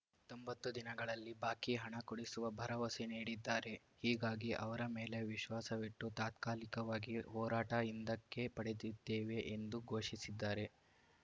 ತೊಂಬತ್ತು ದಿನಗಳಲ್ಲಿ ಬಾಕಿ ಹಣ ಕೊಡಿಸುವ ಭರವಸೆ ನೀಡಿದ್ದಾರೆ ಹೀಗಾಗಿ ಅವರ ಮೇಲೆ ವಿಶ್ವಾಸವಿಟ್ಟು ತಾತ್ಕಾಲಿಕವಾಗಿ ಹೋರಾಟ ಹಿಂದಕ್ಕೆ ಪಡೆದಿದ್ದೇವೆ ಎಂದು ಘೋಷಿಸಿದ್ದಾರೆ